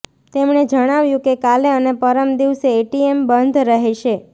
તેમણે જણાવ્યુ કે કાલે અને પરમ દિવસે એટીએમ બંધ રહેશે